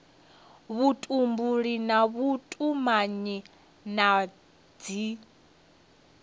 vhutumbuli na vhutumanyi na dzi